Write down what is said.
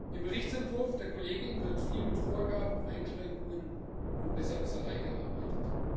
Im Berichtsentwurf der Kollegin wird viel mit Vorgaben, Einschränkungen und Besserwisserei gearbeitet.